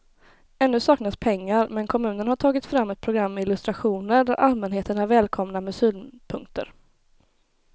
Ännu saknas pengar men kommunen har tagit fram ett program med illustrationer där allmänheten är välkomna med synpunkter.